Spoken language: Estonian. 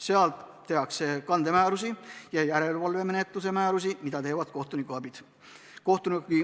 Seal tehakse kandemäärusi ja järelevalvemenetluse määrusi, mida teevad kohtunikuabid.